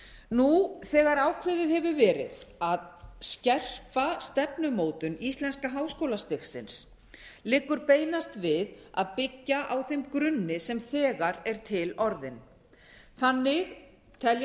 nú þegar ákveðið hefur verið að skerpa stefnumótun íslenska háskólastigsins liggur beinast við að byggja á þeim grunni sem þegar er til orðinn þannig telja